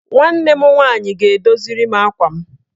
Nwanne m nwaanyị ga-edoziri m akwa m.